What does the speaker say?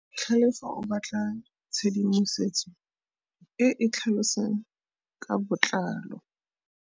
Tlhalefô o batla tshedimosetsô e e tlhalosang ka botlalô.